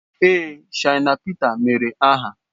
Ee, Shina Pita emeere aha